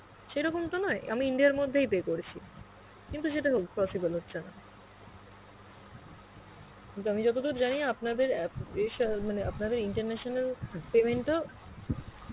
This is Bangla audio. সেরকম তো নয় আমি India র মধ্যেই pay করেছি. কিন্তু সেটা হ~ possible হচ্ছে না, কিন্তু আমি যতদুর জানি আপনাদের app এ সব~ মানে আপনারা international payment ও